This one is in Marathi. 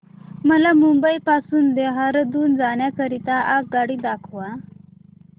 मला मुंबई पासून देहारादून जाण्या करीता आगगाडी दाखवा